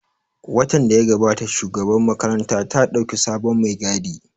Watan da ya gabata Shugabar makaranta ta ɗauki sabon mai gadi